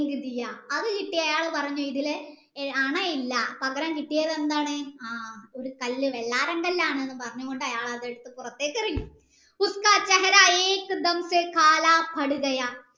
M അത് കിട്ടിയ അയാൾ പറഞ്ഞു ഇതിൽ അണയില്ല പകരം കിട്ടിയത് എന്താണ് ആ ഒരു കല്ല് വെള്ളാരം കല്ലാണ് എന്നും പറഞ്ഞു കൊണ്ട് അയാൾ അതെടുത്തു പുറത്തേക് എറിഞ്ഞു